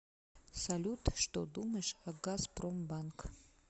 салют что думаешь о газпромбанк